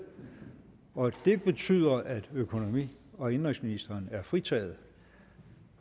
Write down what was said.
og det betyder at økonomi og indenrigsministeren er fritaget